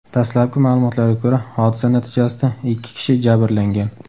Dastlabki ma’lumotlarga ko‘ra, hodisa natijasida ikki kishi jabrlangan.